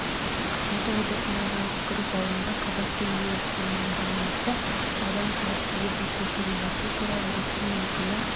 алматы облысындағы жансүгіров ауылында қабатты үй өртіне байланысты адам қауіпсіз жерге көшірілді бұл туралы ресми өкілі